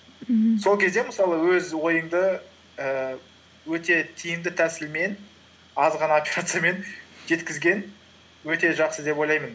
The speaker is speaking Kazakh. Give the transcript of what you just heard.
мхм сол кезде мысалы өз ойыңды ііі өте тиімді тәсілмен аз ғана операциямен жеткізген өте жақсы деп ойлаймын